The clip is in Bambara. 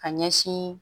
Ka ɲɛsin